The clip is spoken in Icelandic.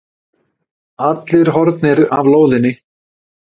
Allir horfnir af lóðinni.